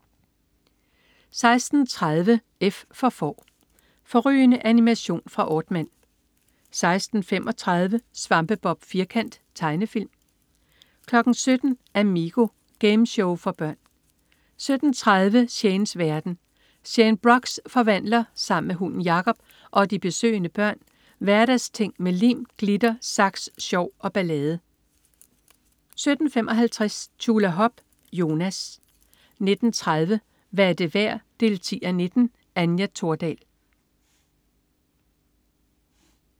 16.30 F for Får. Fårrygende animation fra Aardman 16.35 Svampebob Firkant. Tegnefilm 17.00 Amigo. Gameshow for børn 17.30 Shanes verden. Shane Brox forvandler sammen med hunden Jacob og de besøgende børn hverdagsting med lim, glitter, saks, sjov og ballade 17.55 Tjulahop. Jonas 19.30 Hvad er det værd 10:19. Anja Thordal